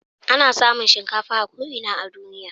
Ana samun shinkafa a ko ina a duniya.